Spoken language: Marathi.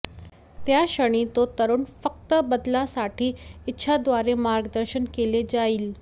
त्या क्षणी तो तरुण फक्त बदला साठी इच्छा द्वारे मार्गदर्शन केले जाईल